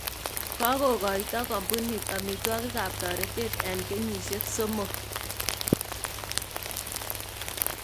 Kokokoito kambunt amitwogikab tortet en kenyisyek somok